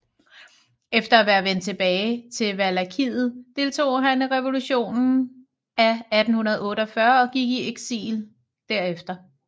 Efter at være vendt tilbage til Valakiet deltog han i revolutionen af 1848 og gik i eksil derefter